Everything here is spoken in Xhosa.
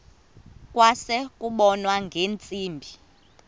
kwase kubonwa ngeentsimbi